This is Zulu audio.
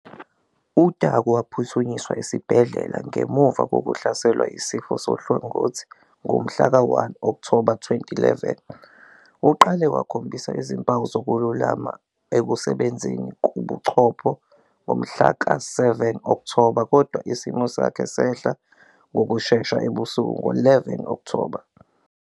UTaku waphuthunyiswa esibhedlela ngemuva kokuhlaselwa yisifo sohlangothi ngomhlaka 1 Okthoba 2011. Uqale wakhombisa izimpawu zokululama ekusebenzeni kobuchopho ngomhla ka-7 Okthoba, kodwa isimo sakhe sehla ngokushesha ebusuku ngo-11 Okthoba.